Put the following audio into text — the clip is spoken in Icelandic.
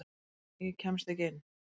Ég kemst ekki inn.